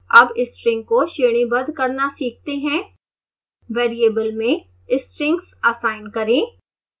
अब string को श्रेणीबद्ध करना सीखते हैं वेरिएबल में strings असाइन करें